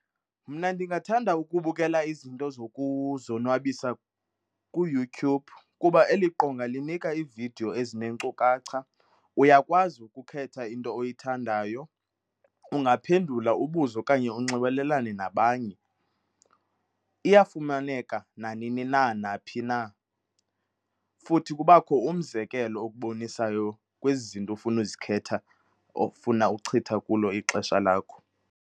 Mna ndingathanda ukubukela izinto zokuzonwabisa kuYouTube kuba eli qonga linika iividiyo ezinenkcukacha. Uyakwazi ukukhetha into oyithandayo, ungaphendula ubuze okanye unxibelelane nabanye. Iyafumaneka nanini na naphi na, futhi kubakho umzekelo okubonisayo kwezi zinto ofuna uzikhetha ofuna uchitha kulo ixesha lakho.